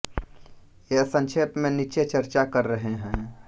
ये संक्षेप में नीचे चर्चा कर रहे हैं